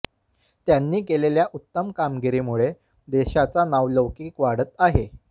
त्यांनी केलेल्या उत्तम कामगिरीमुळे देशाचा नावलौकिक वाढत आहे